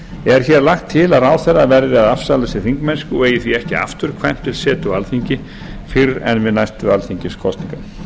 er hér lagt til að ráðherra verði að afsala sér þingmennsku og eigi ekki afturkvæmt til setu á alþingi fyrr en við næstu alþingiskosningar